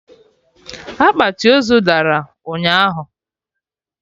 Akpati ozu dara ụnyaahụ!